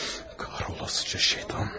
Qara olası şeytan!